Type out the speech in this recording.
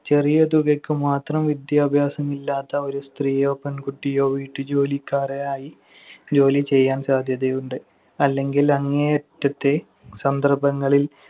ചെറിയ തുകയ്ക്ക് മാത്രം വിദ്യാഭ്യാസമില്ലാത്ത ഒരു സ്ത്രീയോ പെൺകുട്ടിയോ വീട്ടുജോലിക്കാരായി ജോലിചെയ്യാൻ സാധ്യതയുണ്ട്. അല്ലെങ്കിൽ അങ്ങേയറ്റത്തെ സന്ദർഭങ്ങളിൽ